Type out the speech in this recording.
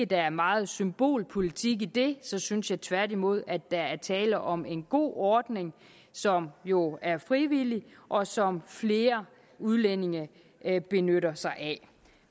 der er meget symbolpolitik i det så synes jeg tværtimod at der er tale om en god ordning som jo er frivillig og som flere udlændinge benytter sig af